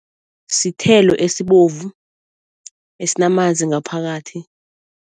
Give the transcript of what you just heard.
Sithelo esibovu, esinamanzi ngaphakathi.